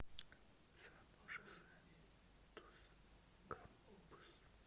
сан жозе дус кампус